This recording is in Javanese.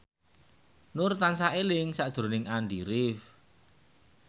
Nur tansah eling sakjroning Andy rif